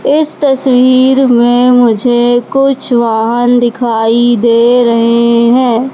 इस तस्वीर में मुझे कुछ वाहन दिखाई दे रहे हैं।